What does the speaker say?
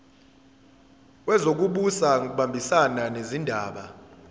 wezokubusa ngokubambisana nezindaba